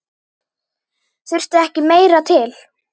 Þurfti ekki meira til.